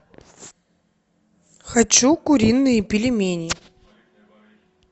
хочу куриные пельмени